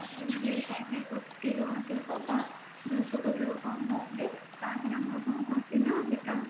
ତାପରେ ଯଦି ଶହେ କୋଟି ରୁ ଅଧିକ ବା ଦୁଇଶହ କୋଟି ରୁ କମ ରହୁଛି ତା ଦେହରେ ଆମର କଣ ହଉଛି ନା ସେଟା